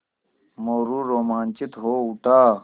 मोरू रोमांचित हो उठा